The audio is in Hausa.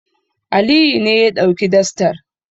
Aliyu ne ya ɗauki dastar.